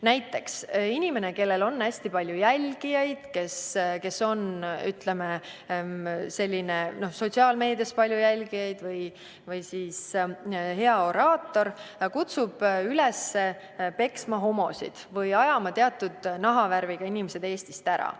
Näiteks inimene, kellel on sotsiaalmeedias hästi palju jälgijaid või kes on hea oraator, kutsub üles peksma homosid või ajama teatud nahavärviga inimesi Eestist ära.